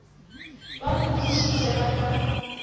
ba mo dišitše ba ka